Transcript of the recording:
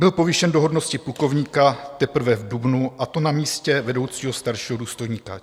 Byl povýšen do hodnosti plukovníka teprve v dubnu, a to na místě vedoucího staršího důstojníka.